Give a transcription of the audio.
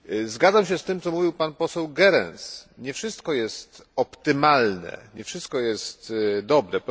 Zgadzam się z tym, co mówił pan poseł Goerens nie wszystko jest optymalne, nie wszystko jest dobre.